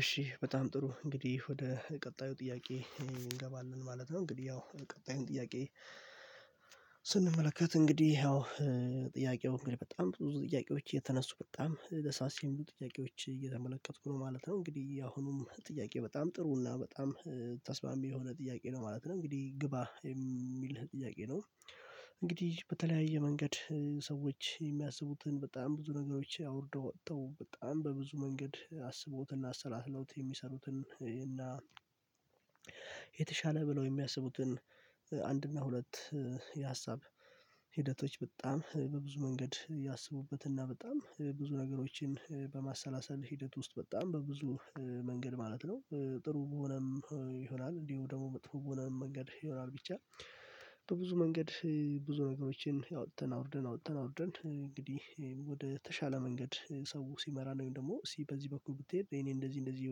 እሺ በጣም ጥሩ፣ እንግዲህ ወደ ቀጣዩ ጥያቄ እንገባለን ማለት ነው። እንግዲህ ያው ቀጣዩን ጥያቄ ስንመለከት እንግዲህ ያው ጥያቄው በጣም ብዙ ጥያቄዎች የተነሱ በጣም ደሳስ የሚሉ ጥያቄዎች እየተመለከትኩ ነው ማለት ነው። እንግዲህ አሁንም ጥያቄ በጣም ጥሩ እና በጣም ተስማሚ የሆነ ጥያቄ ነው ማለት ነው። እንግዲህ ግባ የሚል ጥያቄ ነው። እንግዲህ በተለያየ መንገድ ሰዎች የሚያስቡትን በጣም ብዙ ነገሮች አውርደው ወጥተው በጣም በብዙ መንገድ አስበውትና አሰላስለውት የሚሰሩትን እና የተሻለ ብለው የሚያስቡትን አንድና ሁለት የሀሳብ ሂደቶች በጣም በብዙ መንገድ ያስቡበትና በጣም ብዙ ነገሮችን በማሰላሰል ሂደት ውስጥ በጣም በብዙ መንገድ ማለት ነው ጥሩ በሆነም ይሆናል እንዲሁ ደግሞ መጥፎ የሆነ መንገድ ይሆናል ብቻ፣ በብዙ መንገድ ብዙ ነገሮችን አወጥተን አውርደን፣ አወጥተን አውርደን እንግዲህ ወደ ተሻለ መንገድ ሰው ሲመራ ነው ወይም ደግሞ እስቲ በዚህ በኩል ብትሄድ እኔ እንደዚህ፣ እንደዚህ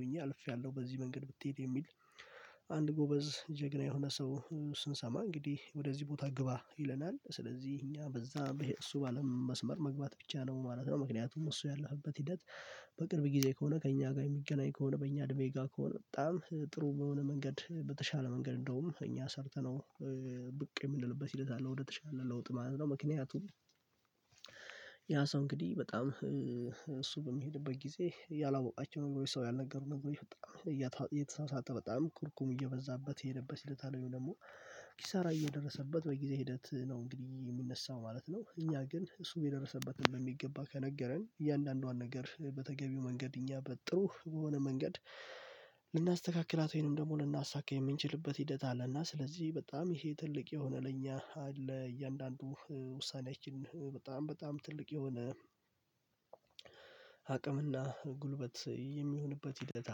ሆኜ አልፌያለሁ፣ በዚህ መንገድ ብትሄድ የሚል አንድ ጎበዝ ጀግና የሆነ ሰው ስንሰማ እንግዲህ ወደዚህ ቦታ ግባ ይለናል። ስለዚህ እኛ በዛ እሱ በአለም መስመር መግባት ብቻ ነው ማለት ነው። ምክንያቱም እሱ ያለፈበት ሂደት በቅርብ ጊዜ ከሆነ፣ ከእኛ ጋር የሚገናኝ ከሆነ፣ በእኛ ድሜ ጋር ከሆነ፣ በጣም ጥሩ በሆነ መንገድ በተሻለ መንገድ እንደውም እኛ ሰርተነው ብቅ የምንልበት ሂደት አለው ወደተሻለ ለውጥ ማለት ነው። ምክንያቱም ያ ሰው እንግዲህ በጣም እሱ በሚሄድበት ጊዜ ያላወቃቸው ወይ ሰው ያልነገሩ ነገር መንገድ ወይ የተሳሳተ በጣም ኩርኩም እየበዛበት የሄደበት ሂደት አለው። ወይ ደግሞ ኪሳራ እየደረሰበት በጊዜ ሂደት ነው እንግዲህ የሚነሳው ማለት ነው። እኛ ግን እሱ የደረሰበትን በሚገባ ከነገረን እያንዳንዷን ነገር በተገቢው መንገድ እኛ በጥሩ በሆነ መንገድ ልናስተካክላት ወይንም ደግሞ ልናሳካ የምንችልበት ሂደት አለና ስለዚህ በጣም ይሄ ትልቅ የሆነ ለእኛ አለ። እያንዳንዱ ውሳኔያችን በጣም በጣም ትልቅ የሆነ አቅምና ጉልበት የሚሆንበት ሂደት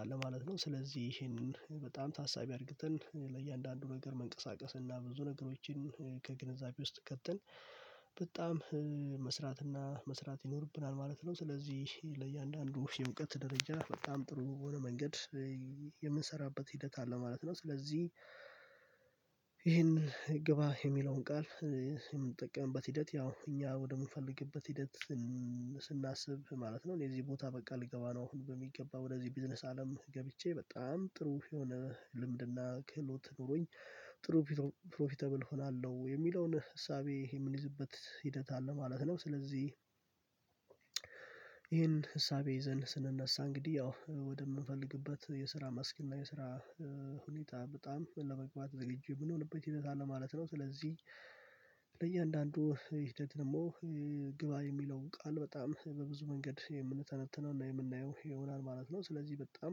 አለ ማለት ነው። ስለዚህ ይሄንን በጣም ታሳቢ አርግተን ለእያንዳንዱ ነገር መንቀሳቀስ እና ብዙ ነገሮችን ከግንዛቤ ውስጥ ከትን በጣም መስራት እና መስራት ይኖርብናል ማለት ነው። ስለዚህ ለእያንዳንዱ የእውቀት ደረጃ በጣም ጥሩ የሆነ መንገድ የምንሰራበት ሂደት አለ ማለት ነው። ስለዚህ ይሄን ግባ የሚለውን ቃል የምንጠቀምበት ሂደት ያው እኛ ወደምንፈልግበት ሂደት ስናስብ ማለት ነው። እኔ እዚህ ቦታ በቃ ልገባ ነው አሁን በሚገባ ወደዚህ ቢዝነስ አለም ገብቼ በጣም ጥሩ የሆነ ልምድና ክህሎት ኖሮኝ ጥሩ ፕሮፊተብል እሆናለሁ የሚለውን እሳቤ ይሄ የምንይዝበት ሂደት አለ ማለት ነው። ስለዚህ ይሄን እሳቤ ይዘን ስንነሳ እንግዲህ ያው ወደምንፈልግበት የስራ መስክ እና የስራ ሁኔታ በጣም ለመግባት ዝግጁ የምንሆንበት ሂደት አለ ማለት ነው። ስለዚህ በእያንዳንዱ ይሄ ደግሞ ግባ የሚለው ቃል በጣም በብዙ መንገድ የምንተነትነው እና የምናየው ይሆናል ማለት ነው። ስለዚህ በጣም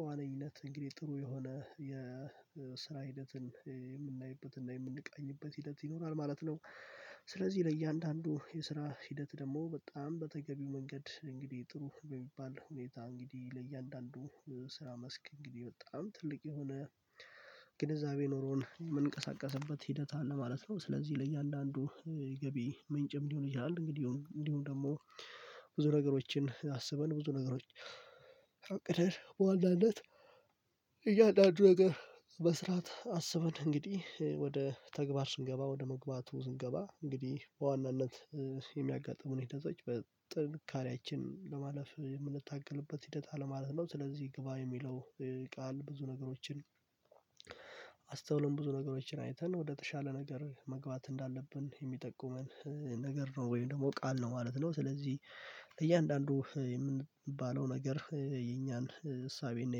በዋነኝነት እንግዲህ ጥሩ የሆነ የስራ ሂደትን የምናይበት እና የምንቃኝበት ሂደት ይኖራል ማለት ነው። ስለዚህ ለእያንዳንዱ የስራ ሂደት ደግሞ በጣም በተገቢው መንገድ እንግዲህ ጥሩ በሚባል ሁኔታ እንግዲህ ለእያንዳንዱ ስራ መስክ እንግዲህ በጣም ትልቅ የሆነ ግንዛቤ ኖሮን የምንቀሳቀስበት ሂደት አለ ማለት ነው። ስለዚህ ለእያንዳንዱ ገቢ ምንጭም ልሆን ይችላል እንግዲህ እንዲሆን ደግሞ ብዙ ነገሮችን አስበን፣ ብዙ ነገሮች አቅደን በዋናነት እያንዳንዱ ነገር መስራት አስበን እንግዲህ ወደ ተግባር ስንገባ ወደ መግባቱ ስንገባ እንግዲህ በዋናነት የሚያጋጥሙን ሄደቶች በጥንካሬያችን ለማለፍ የምንታገልበት ሂደት አለማለት ነው። ስለዚህ ግባ የሚለው ቃል ብዙ ነገሮችን አስተውለን ብዙ ነገሮችን አይተን ወደ ተሻለ ነገር መግባት እንዳለብን የሚጠቁመን ነገር ነው ወይም ደግሞ ቃል ነው ማለት ነው። ስለዚህ እያንዳንዱ የምንባለው ነገር የኛን እሳቤና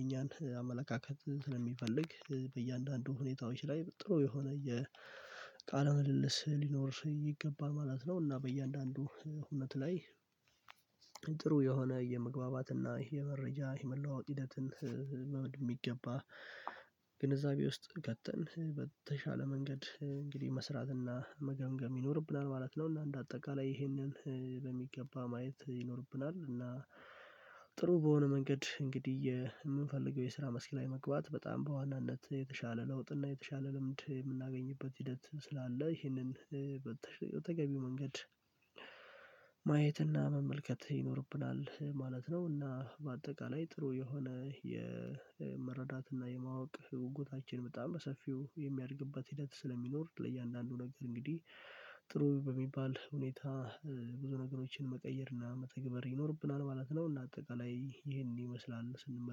የኛን አመለካከት ስለሚፈልግ በእያንዳንዱ ሁኔታዎች ላይ ጥሩ የሆነ የቃል ምልልስ ሊኖር ይገባ ማለት ነው እና በእያንዳንዱ እውነት ላይ ጥሩ የሆነ የመግባባት እና የመረጃ የመለዋወጥ ሂደትን መምድ የሚገባ ግንዛቤ ውስጥ ቀጥተን በተሻለ መንገድ እንግዲህ መስራትና መገንገም ይኖርብናል ማለት ነው። እና እንደ አጠቃላይ ይሄንን በሚገባ ማየት ይኖርብናል፣ እና ጥሩ በሆነ መንገድ እንግዲህ የምንፈልገው የስራ መስክላኝ መግባት በጣም በዋናነት የተሻለ ለውጥ እና የተሻለ ልምድ የምናገኝበት ሂደት ስላለ ይህንን በተገቢው መንገድ ማየትና መመልከት ይኖርብናል ማለት ነው እና በአጠቃላይ ጥሩ የሆነ የመረዳት እና የማወቅ ጉጉታችን በጣም በሰፊው የሚያደርግበት ሂደት ስለሚኖር ለእያንዳንዱ ነገር እንግዲህ ጥሩ በሚባል ሁኔታ ብዙ ነገሮችን መቀየር እና መተግበር ይኖርብናል ማለት ነው። እና አጠቃላይ ይሄን ይመስላል ስንመለከተው